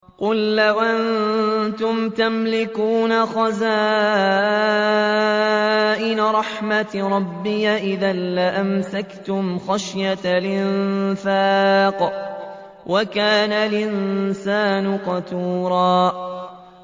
قُل لَّوْ أَنتُمْ تَمْلِكُونَ خَزَائِنَ رَحْمَةِ رَبِّي إِذًا لَّأَمْسَكْتُمْ خَشْيَةَ الْإِنفَاقِ ۚ وَكَانَ الْإِنسَانُ قَتُورًا